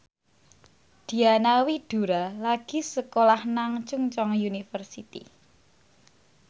Diana Widoera lagi sekolah nang Chungceong University